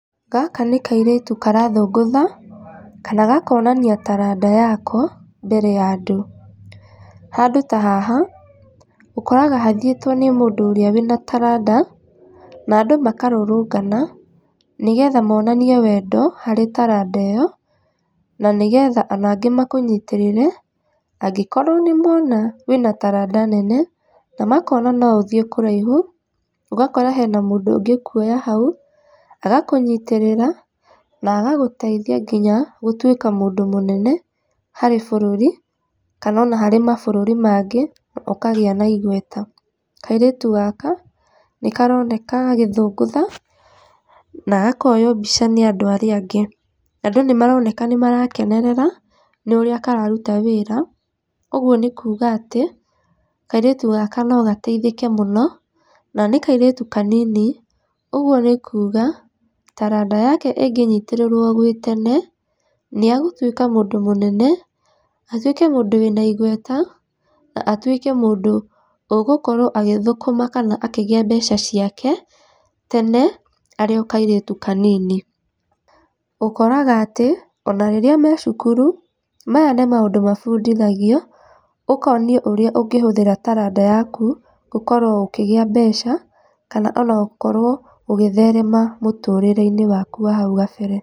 Gaka nĩ kairĩtu karathũngũtha, kana gakonania taranda yako mbere ya andũ. Handũ ta haha ũkoraga hathĩetwo nĩ mũndũ ũrĩa wĩna taranda na andũ makarũrũngana nĩgetha monanie wendo harĩ taranda ĩyo na nĩgetha ona angĩ makũnyitĩrĩre, angĩkorwo nĩ mona wĩna taranda nene na makona no ũthĩe kũraihu ũgakora hena mũndũ ũngĩkũoya hau agakũnyitĩrĩra na agagũteithia nginya gũtũĩka mũndũ mũnene harĩ bũrũri, ona kana harĩ mabũrũrĩ mangĩ ũkagĩa na igweta. Kairĩtu gaka nĩ karoneka gagĩthũngũtha na gakoywo mbica nĩ andũ arĩa angĩ. Andũ nĩ maroneka nĩ marakenerera nĩ ũrĩa kararuta wĩra ũguo nĩ kuga atĩ kairĩtu gaka no gateithĩke mũno na nĩ kairĩtu kanini ũguo nĩ kuga taranda yake ĩngĩnyitĩrĩrwo gwĩ tene nĩ agũtũĩka mũndũ mũnene, atũĩke mũndũ wĩna ĩgweta na atũĩke mũndũ ũgũkorwo agĩthũkũma kana akĩgĩa mbeca ciake tene arĩ o kairĩtu kanini. Ũkoraga atĩ ona rĩrĩa me cukuru maya nĩ maũndũ mabundithagio ũkonio ũrĩa ũngĩhũthĩra taranda yaku gũkorwo ũkĩgĩa mbeca kana ona gũkorwo ũgĩtherema mũtũrĩre-inĩ waku wa hau kabere.